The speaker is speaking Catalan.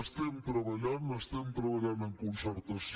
estem treballant estem treballant en concertació